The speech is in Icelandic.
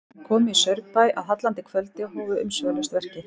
Þeir komu í Saurbæ að hallandi kvöldi og hófu umsvifalaust verkið.